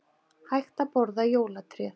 Hægt að borða jólatréð